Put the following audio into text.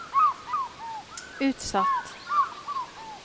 utsatt